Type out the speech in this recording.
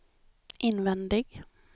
invändig